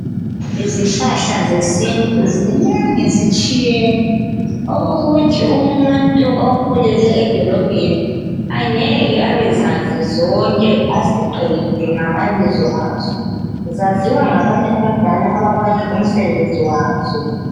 Izihlahla zesintu zinengi zitshiyene okokuthi umuntu okhulele edolobheni angeke abezazi zonke aziqede ngamabizo azo. Zaziwa ngabantu abadala abazi umsebenzi wazo.